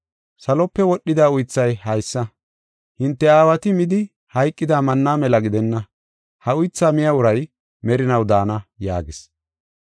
Salope wodhida uythay haysa: hinte aawati midi hayqida manna mela gidenna; ha uythaa miya uray merinaw daana” yaagis.